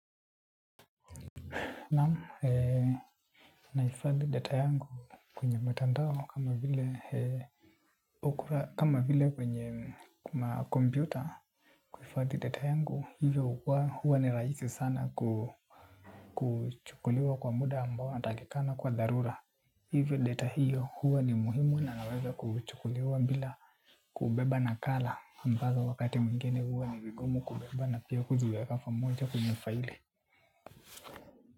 Naam, nahifadhi data yangu kwenye mtandao kama vile okra kama vile kwenye kuna kompyuta. Hifadhi data yangu hivyo hukua huwa ni rahisi sana kuchukuliwa kwa muda ambao natakikana kwa dharura. Hivyo data hiyo huwa ni muhimu na naweza kuchukuliwa bila kubeba nakala ambazo wakati mwingine huwa ni vigumu kubeba na pia kuziweka pamoja kwenye faili.